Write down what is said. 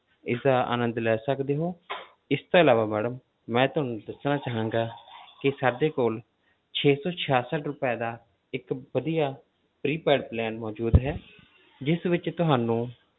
ਇਸਦਾ ਅਨੰਦ ਲੈ ਸਕਦੇ ਹੋ ਇਸ ਤੋਂ ਇਲਾਵਾ madam ਮੈਂ ਤੁਹਾਨੂੰ ਦੱਸਣਾ ਚਾਹਾਂਗਾ ਕਿ ਸਾਡੇ ਕੋਲ ਛੇ ਸੌ ਛਿਆਸਠ ਰੁਪਏ ਦਾ ਇੱਕ ਵਧੀਆ prepaid plan ਮੌਜੂਦ ਹੈ ਜਿਸ ਵਿੱਚ ਤੁਹਾਨੂੰ